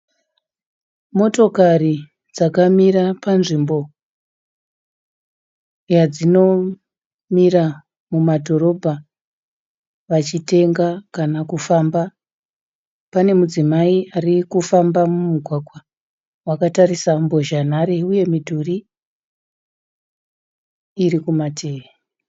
Motikari dzakamira panzvimbo yadzinomira mumadhorobha vachitenga kana kufamba. Pane mudzimai arikufamba mumugwagwa akatarisa nharembozha uye midhuru iri kumativi.